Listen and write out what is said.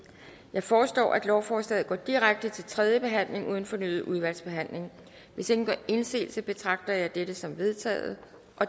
jeg foreslår at lovforslaget går direkte til tredje behandling uden fornyet udvalgsbehandling hvis ingen gør indsigelse betragter jeg dette som vedtaget